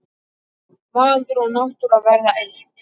Maður og náttúra verða eitt.